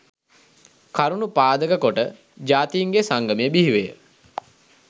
කරුණු පාදක කොට ජාතීන්ගේ සංගමය බිහිවිය